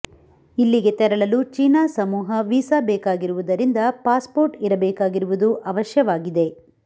ಇಲ್ಲಿಗೆ ತೆರಳಲು ಚೀನಾ ಸಮೂಹ ವಿಸಾ ಬೇಕಾಗಿರುವುದರಿಂದ ಪಾಸ್ ಪೋರ್ಟ್ ಇರಬೇಕಾಗಿರುವುದು ಅವಶ್ಯವಾಗಿದೆ